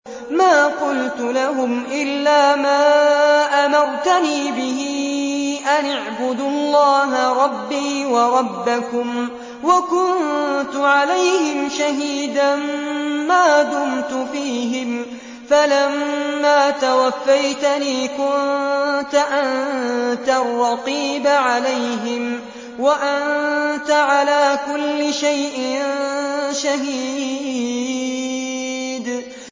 مَا قُلْتُ لَهُمْ إِلَّا مَا أَمَرْتَنِي بِهِ أَنِ اعْبُدُوا اللَّهَ رَبِّي وَرَبَّكُمْ ۚ وَكُنتُ عَلَيْهِمْ شَهِيدًا مَّا دُمْتُ فِيهِمْ ۖ فَلَمَّا تَوَفَّيْتَنِي كُنتَ أَنتَ الرَّقِيبَ عَلَيْهِمْ ۚ وَأَنتَ عَلَىٰ كُلِّ شَيْءٍ شَهِيدٌ